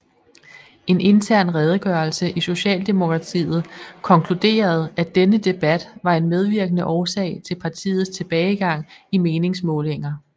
En intern redegørelse i Socialdemokratiet konkluderede at denne debat var en medvirkende årsag til partiets tilbagegang i meningsmålinger